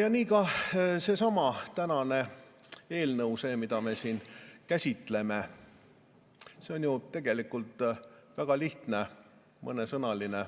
Ja nii ka seesama tänane eelnõu, mida me siin käsitleme, on ju tegelikult väga lihtne mõnesõnaline